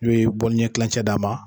n'u ye ɲɛ tilancɛ d'a ma